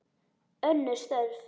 Önnur störf.